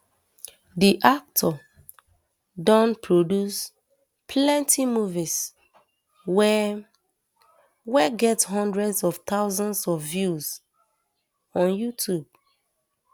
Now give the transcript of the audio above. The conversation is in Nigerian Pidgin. di actor don produce plenty movies wey wey get hundreds of thousands of views on youtube